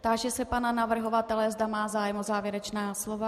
Táži se pana navrhovatele, zda má zájem o závěrečná slova.